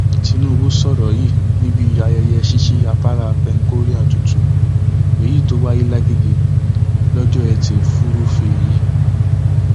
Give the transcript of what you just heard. tinubu sọrọ yìí níbi ayẹyẹ ṣíṣí afárá penkorea tuntun èyí tó wáyé làgègè lọjọ etí furuufee yìí